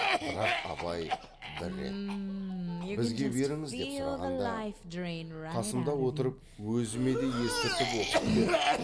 бірақ абай бір рет бізге беріңіз деп сұрағанда қасымда отырып өзіме де естіртіп оқып бер